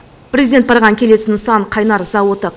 президент барған келесі нысан қайнар зауыты